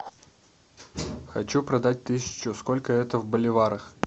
хочу продать тысячу сколько это в боливарах